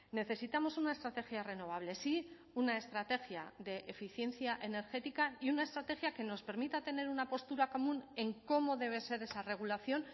necesitamos una estrategia renovable sí una estrategia de eficiencia energética y una estrategia que nos permita tener una postura común en cómo debe ser esa regulación